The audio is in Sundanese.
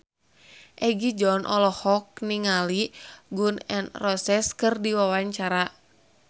Egi John olohok ningali Gun N Roses keur diwawancara